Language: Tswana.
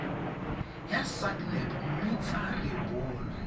ya sacnap mme tsa rebolwa